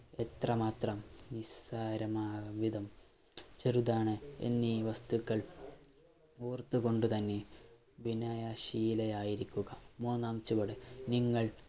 എത്രമാത്രം നിസ്സാരമാംവിധം ചെറുതാണ് എന്നീ വസ്തുക്കൾ ഓർത്തുകൊണ്ട് തന്നെ വിനയശീലയായിരിക്കുക. മൂന്നാം ചുവടു നിങ്ങൾ